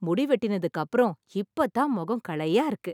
முடி வெட்டினத்துக்கு அப்புறம் , இப்ப தான் முகம் களையா இருக்கு.